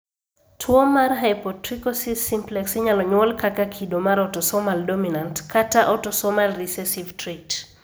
Tuwo mar hypotrichosis simplex inyalo nyuol kaka kido mar autosomal dominant kata autosomal recessive trait.